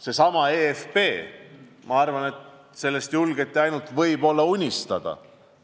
Seesama EFB – ma arvan, et sellest julgeti ainult unistada.